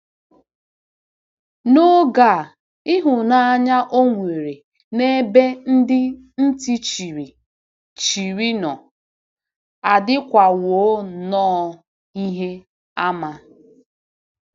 N'oge a, ịhụnanya o nwere n'ebe ndị ntị chiri chiri nọ adịkwawo nnọọ ihe àmà.